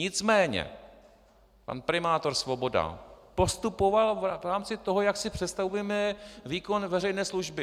Nicméně pan primátor Svoboda postupoval v rámci toho, jak si představujeme výkon veřejné služby.